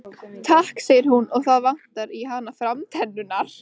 Takk segir hún og það vantar í hana framtennurnar.